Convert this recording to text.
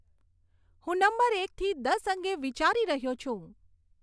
હું નંબર એકથી દસ અંગે વિચારી રહ્યો છું